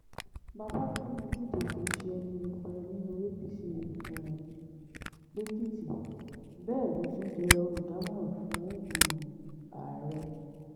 babafẹ́mi ojúde kí ṣe ẹni yẹpẹrẹ nínú apc um lèkìtì bẹ́ẹ̀ ló tún jẹ́ olùdámọ̀ràn fún um ààrẹ